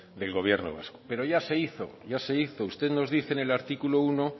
del gobierno vasco pero ya se hizo usted nos dice en el artículo uno